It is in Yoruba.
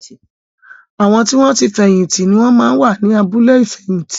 Àwọn tí wọn ti fẹ̀yìn tì ni wón máa ń wà ní abúlé ìfẹ̀yìntì